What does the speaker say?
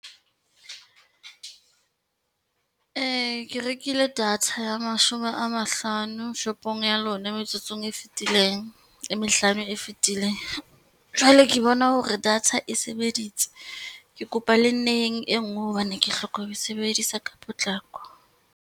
Ke rekile data ya mashome a mahlano shopong ya lona metsotsong e mehlano e fetileng. Jwale ke bona hore data e sebeditse, ke kopa le nneheng e ngwe hobane ke hloka ho e sebedisa ka potlako.